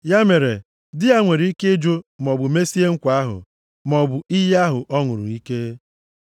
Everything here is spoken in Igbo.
Ya mere, di ya nwere ike ịjụ, maọbụ mesie nkwa ahụ, maọbụ iyi ahụ ọ ṅụrụ ike.